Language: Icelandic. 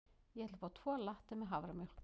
Ég ætla að fá tvo latte með haframjólk.